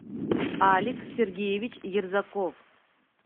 алик сергеевич ерзаков